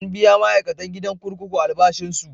An biya ma'aikatan gidan kurkuku albashinsu.